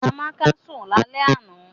Amaka so lale ana.